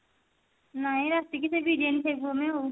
ନାଇଁ ରାତିକି ସେଇ ବିରିୟାନୀ ଖାଇବୁ ଆମେ ଆଉ